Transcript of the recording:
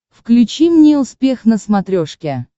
включи мне успех на смотрешке